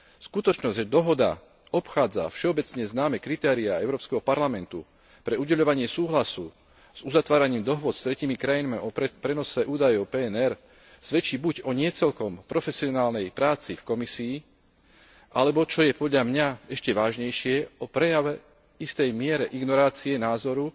Skutočnosť, že dohoda obchádza všeobecne známe kritériá Európskeho parlamentu pre udeľovanie súhlasu s uzatváraním dohôd s tretími krajinami o prenose údajov PNR, svedčí buď o nie celkom profesionálnej práci v Komisii, alebo, čo je podľa mňa ešte vážnejšie, o prejave istej miery ignorácie názoru